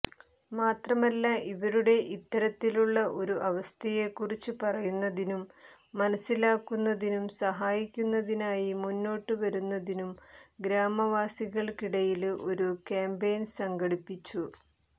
മാത്രമല്ല ഇവരുടെ ഇത്തരത്തിലുള്ള ഒരു അവസ്ഥയെക്കുറിച്ച് പറയുന്നതിനും മനസ്സിലാക്കുന്നതിനും സഹായിക്കുന്നതിനായി മുന്നോട്ട് വരുന്നതിനും ഗ്രാമവാസികള്ക്കിടയില് ഒരു ക്യാംപയ്ന് സംഘടിപ്പിച്ചു